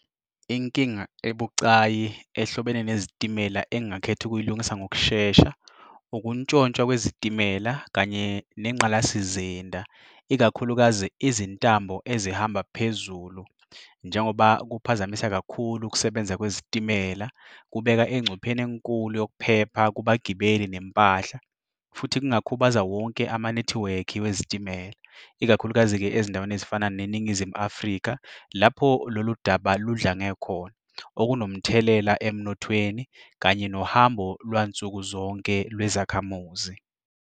Inkinga ebucayi ehlobene nezitimela engingakhetha ukuyilungisa ngokushesha ukuntshontshwa kwezitimela kanye nengqalasizinda, ikakhulukazi izintambo ezihamba phezulu njengoba kuphazamisa kakhulu ukusebenza kwezitimela, kubeka engcupheni enkulu yokuphepha kubagibeli nempahla. Futhi kungakhubaza wonke amanethiwekhi wezitimela, ikakhulukazi-ke ezindaweni ezifana neNingizimu Afrika lapho lolu daba ludlange khona, okunomthelela emnothweni kanye nohambo lwansuku zonke lwezakhamuzi.